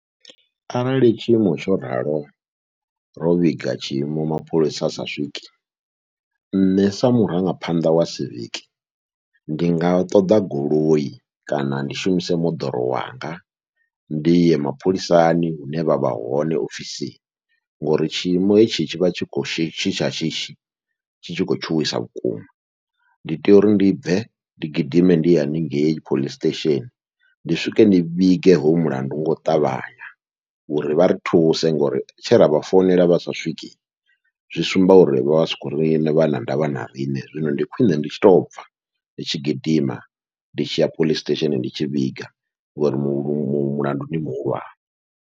Arali tshiimo tsho ralo ro vhiga tshiimo mapholisa asa swike, nṋe sa murangaphanḓa wa civic ndi nga ṱoḓa goloi kana ndi shumise moḓoro wanga ndi ye mapholisani hune vha vha hone ofisini, ngori tshiimo hetshi tshivha tshi kha shishi tsha shishi tshi tshi kho tshuwisa vhukuma, ndi tea uri ndi bve ndi gidime ndi ye haningei police station ndi swike ndi vhige hoyo mulandu ngau ṱavhanya uri vha ri thuse. Ngori tshe ravha founela vha swike zwi sumba uri vha vha sa khou ri vha na ndavha na riṋe, zwino ndi khwiṋe ndi tshi to bva ndi tshi gidima ndi tshi ya police station ndi tshi vhiga ngori mulandu ndi muhulwane.